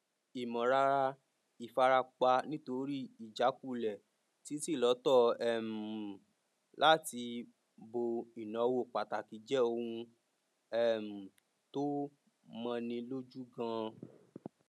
ìmọlára ìfarapa nítorí ìjakulẹ títílọtọ um láti bo ináwó pàtàkì jẹ ohun um tó mọni lójú ganan